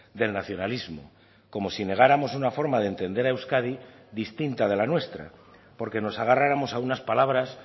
del nacionalismo como si negáramos una forma de entender a euskadi distinta de la nuestra porque nos agarráramos a unas palabras